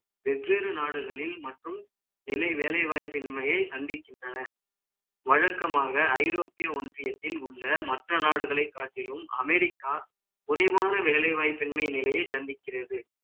வெவ்வேறு நாடுகளில் மற்றும் கிளை வேலை வாய்ப்பின்மையை சந்திக்கின்றன வழக்கமாக, ஐரோப்பிய ஒன்றியத்தில் உள்ள, மற்ற நாடுகளைக் காட்டிலும், America, குறைவான வேலை வாய்ப்பின்மை நிலையை, சந்திக்கிறது.